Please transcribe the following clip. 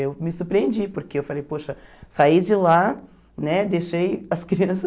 Eu me surpreendi, porque eu falei, poxa, saí de lá, né deixei as crianças...